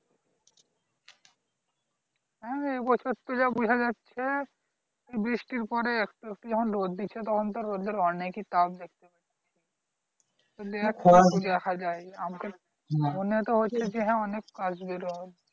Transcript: হ্যাঁ এবছর তো যা বোঝা যাচ্ছে বৃষ্টির পরে একটু একটু যখন রোদ দিচ্ছে তখন তো রোদ্রের অনেকই তাপ দেখতে পাচ্ছি তো মনে তো হচ্ছে যে হ্যাঁ অনেক আসবে রোদ